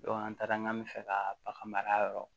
an taara n'an bɛ fɛ ka bagan mara yɔrɔ